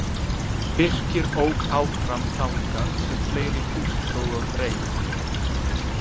Birkir ók áfram þangað sem fleiri hús stóðu á dreif.